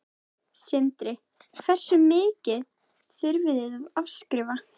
Sindri: Hversu mikið þurftuð þið að afskrifa?